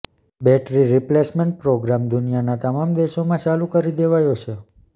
battery replacement programme દુનિયાના તમામ દેશોમાં ચાલુ કરી દેવાયો છે